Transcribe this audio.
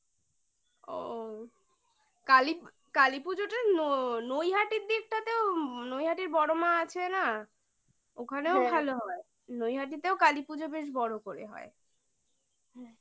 ও কালী কালীপূজোটা নৈহাটির দিকটাতেও নৈহাটির বড়মা আছে না ওখানেও হ্যাঁ ভালো হয় নৈহাটীতেও কালীপুজো বেশ বড় করে হয়